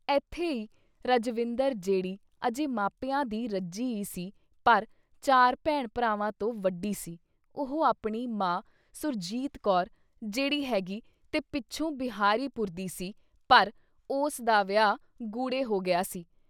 ਏਥੇ ਈ ਰਜਵਿੰਦਰ ਜਿਹੜੀ ਅਜੇ ਮਾਪਿਆਂ ਦੀ ਰੱਜੀ ਈ ਸੀ ਪਰ ਚਾਰ ਭੈਣ- ਭਰਾਵਾਂ ਤੋਂ ਵੱਡੀ ਸੀ; ਉਹ ਆਪਣੀ ਮਾਂ ਸੁਰਜੀਤ ਕੌਰ ਜਿਹੜੀ ਹੈਗੀ ਤੇ ਪਿੱਛੋਂ ਬਿਹਾਰੀ ਪੁਰ ਦੀ ਸੀ ਪਰ ਉਸ ਦਾ ਵਿਆਹ ਗੁੜ੍ਹੇ ਹੋ ਗਿਆ ਸੀ ।